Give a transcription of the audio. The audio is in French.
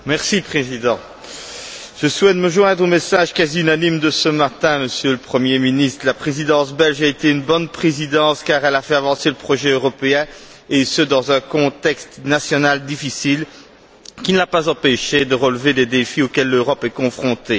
Monsieur le Président, je souhaite me joindre aux messages quasi unanimes de ce matin Monsieur le Premier ministre, la Présidence belge a été une bonne Présidence car elle a fait avancer le projet européen, et ce dans un contexte national difficile qui ne l'a pas empêchée de relever des défis auxquels l'Europe est confrontée.